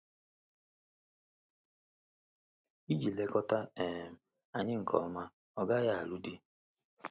Iji lekọta um anyị nke ọma, ọ gaghị alụ di.